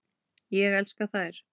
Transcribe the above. Ég elska þær.